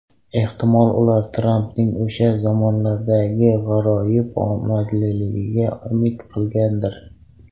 Ehtimol ular Trampning o‘sha zamonlardagi g‘aroyib omadliligiga umid qilgandir.